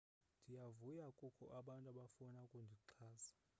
ndiyavuya kukho abantu abafuna ukundixhasa